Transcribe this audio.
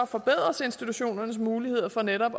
forbedres institutionernes muligheder for netop